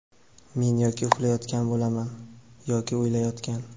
Men yoki uxlayotgan bo‘laman, yoki o‘ylayotgan.